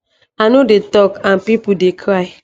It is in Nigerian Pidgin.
i no dey tok and pipo dey cry